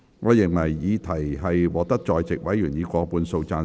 我認為議題獲得在席委員以過半數贊成。